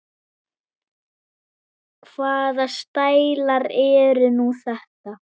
Hvaða stælar eru nú þetta?